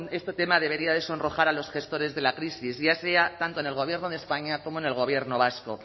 este tema debería de sonrojar a los gestores de la crisis ya sea tanto en el gobierno de españa como en el gobierno vasco